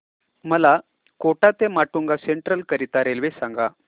मला कोटा ते माटुंगा सेंट्रल करीता रेल्वे सांगा